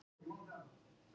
Ég held hann hafi sagt það.